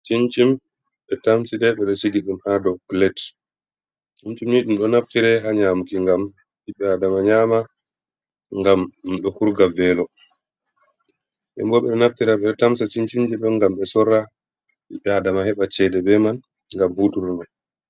Cincim ɓe tamsi ɗe, ɓe ɗo sigi ɗum ha dou plet. Cincin ni ɗum ɗo naftire haa nyamuki ngam ɓiɓɓe adama nyama gam ɗum ɗo hurga velo. Nden bo ɓe ɗo naftira, ɓe ɗo tamsa cincinji ɗo ngam ɓe sorra, ɓiɓɓe adama heɓa cede be man ngam hutunurɗe.